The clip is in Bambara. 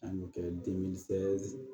A bɛ kɛ